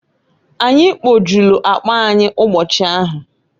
Anyị kpojulu akpa anyị ụbochi ahụ.